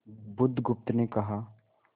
बुधगुप्त ने कहा